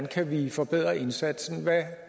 kan forbedre indsatsen hvad